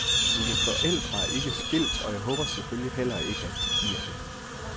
Mine forældre er ikke skilt og jeg håber selvfølgelig heller ikke at de bliver det.